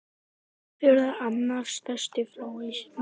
Breiðafjörður er annar stærsti flói landsins.